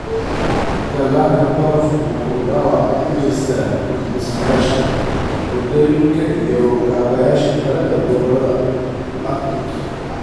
Dhallaanka barafku wuxuu dhaawac u geystaa dhismayaasha, waddooyinka iyo kaabayaasha kale ee gobollada Arctic.